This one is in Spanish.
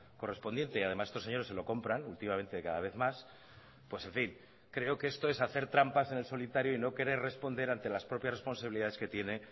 correspondiente y además estos señores se lo compran últimamente cada vez más pues en fin creo que esto es hacer trampas en el solitario y no querer responder ante las propias responsabilidades que tiene